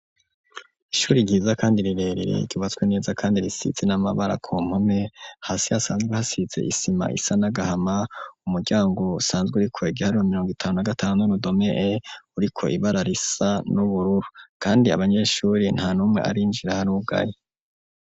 Ishuri ryiza kandi rirerire, ryubatswe neza kandi risize n'amabara ku mpome, hasi hasanzwe hasize isima isa n'agahama; umuryango usanzwe uriko igiharuro mirongo itanu na gatanu n'urudome E, uriko ibara risa n'ubururu, kandi abanyeshuri nta n'umwe arinjira, harugaye.